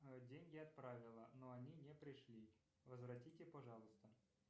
деньги отправила но они не пришли возвратите пожалуйста